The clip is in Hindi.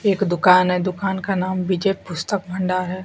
एक दुकान है दुकान का नाम विजय पुस्तक भंडार है।